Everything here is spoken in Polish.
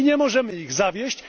Nie możemy ich zawieść!